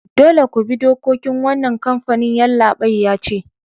Dolle ku bi dokokin wanan kampanin! Yallabain ya ce.